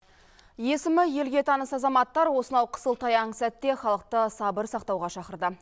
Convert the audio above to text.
есімі елге таныс азаматтар осынау қысылтаяң сәтте халықты сабыр сақтауға шақырды